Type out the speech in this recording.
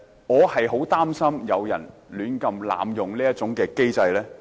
我十分擔心有人胡亂濫用這個機制。